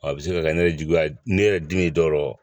Wa a bɛ se ka kɛ ne yɛrɛ juguya ne yɛrɛ dimi dɔ